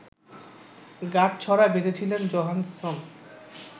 গাঁটছড়া বেঁধেছিলেন জোহানসন